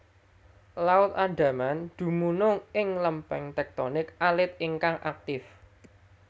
Laut Andaman dumunung ing lempeng tektonik alit ingkang aktif